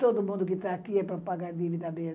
Todo mundo que está aqui é para pagar dívida mesmo.